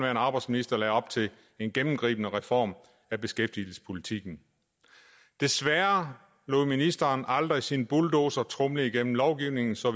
arbejdsminister lagde op til en gennemgribende reform af beskæftigelsespolitikken desværre lod ministeren aldrig sin bulldozer tromle igennem lovgivningen så